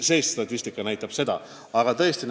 See statistika viitab sellele.